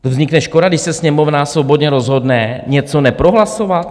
To vznikne škoda, když se Sněmovna svobodně rozhodne něco neprohlasovat?